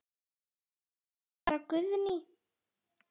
Þetta var bara Guðný.